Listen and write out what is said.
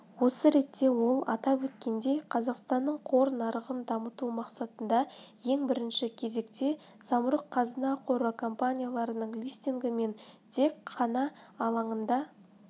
осы ретте ол атап өткендей қазақстанның қор нарығын дамыту мақсатында ең бірінші кезекте самұрық-қазына қоры компанияларының листингі мен тек қана алаңында